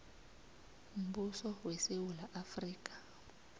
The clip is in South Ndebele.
mbuso wesewula afrika